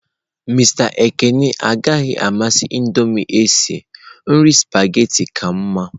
Mister Ekene agaghị amasị Indomie esi nri spaghetị kama.